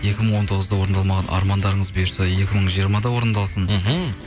екі мың он тоғызда орындалмаған армандарыңыз бұйырса екі мың жиырмада орындалсын мхм